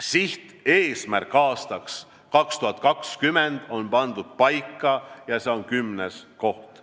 Sihteesmärk aastaks 2020 on 10. koht.